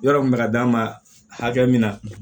Yɔrɔ kun bɛ ka d'a ma hakɛ min na